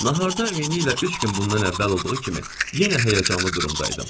Naharda eni ilə üç gün bundan əvvəl olduğu kimi yenə həyəcanlı durumda idim.